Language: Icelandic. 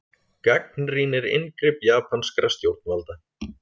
Gagnrýnir inngrip japanskra stjórnvalda